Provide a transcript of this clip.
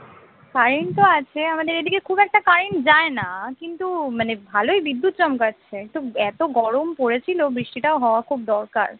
current তো আছে আমাদের এইদিকে খুব একটা current যায় না কিন্তু মানে ভালোই বিদ্যুৎ চমকাচ্ছে তো এত গরম পড়েছিল বৃষ্টিটা হওয়া খুব দরকার